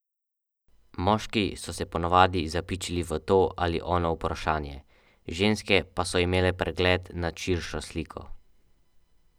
Moški so se ponavadi zapičili v to ali ono vprašanje, ženske pa so imele pregled nad širšo sliko.